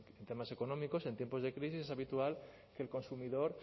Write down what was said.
en temas económicos en tiempos de crisis es habitual que el consumidor